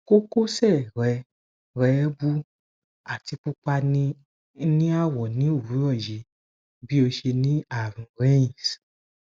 kokose re re wu ati pupa ni awo ni owuro yi bi o se ni arun reins